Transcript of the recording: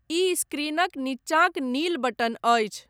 ई स्क्रीनक नीचांक नील बटन अछि।